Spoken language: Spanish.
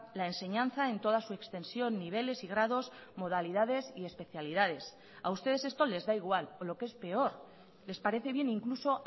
la enseñanza en toda su extensión niveles y grados modalidades y especialidades a ustedes esto les da igual o lo que es peor les parece bien incluso